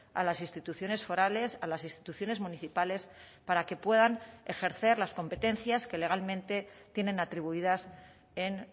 a las instituciones forales a las instituciones municipales para que puedan ejercer las competencias que legalmente tienen atribuidas en